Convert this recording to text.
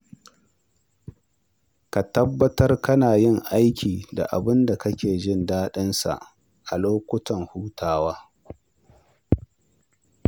Ka tabbatar kana yin aiki da abin da kake jin daɗinsa a lokutan hutawa.